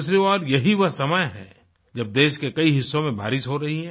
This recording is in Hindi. दूसरी ओर यही वह समय है जब देश के कई हिस्सों में भारी बारिश हो रही है